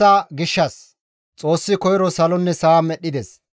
Xoossi koyro salonne sa7a medhdhides.